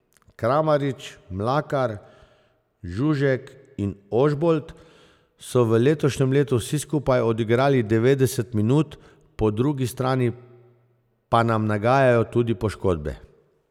Kramarič, Mlakar, Žužek in Ožbolt so v letošnjem letu vsi skupaj odigrali devetdeset minut, po drugi strani pa nam nagajajo tudi poškodbe.